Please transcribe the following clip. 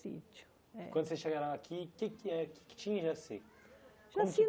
Sítio, é. Quando vocês chegaram aqui, o que é que eh o que é que tinha já assim? Já tinha